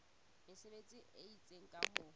mesebetsi e itseng ka ho